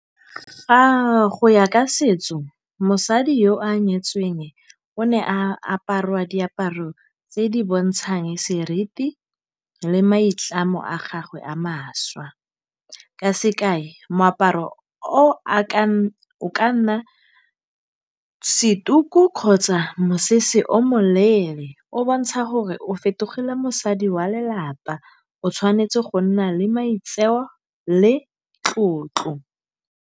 Go ya ka setso mosadi yo a nyetsweng o ne a aparwa diaparo tse di bontshang seriti le maitlamo a gagwe a mašwa. Ka sekai, moaparo o ka nna se tuku kgotsa mosese o moleele o bontsha gore o fetogile mosadi wa lelapa, o tshwanetse go nna le maitseo le tlotlo.